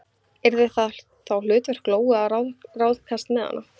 Yrði það þá hlutverk Lóu að ráðskast með hana?